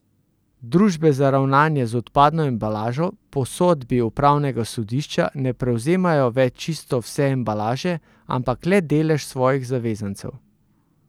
Družbe za ravnanje z odpadno embalažo po sodbi upravnega sodišča ne prevzemajo več čisto vse embalaže, ampak le delež svojih zavezancev.